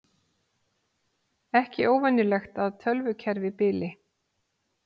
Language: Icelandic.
Ekki óvenjulegt að tölvukerfi bili